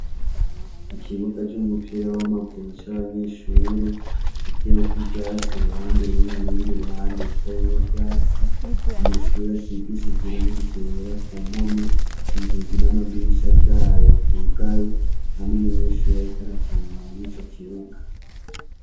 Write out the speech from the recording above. Ikibuga cumupira wamaguru cabanyehure, giteyeko ivyatsi uruhande rumwe urundi ruhande rutariko ivyatsi amashure hasigishije irangi ryera kumpome ntanumunyeshure Ariko arakinira kurico kibuga.